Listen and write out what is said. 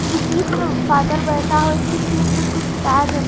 जो बीच में फादर बेठा है उसके सिर पर कुछ ताज है।